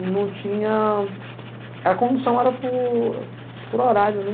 E não tinha... A condução era por por horário, né?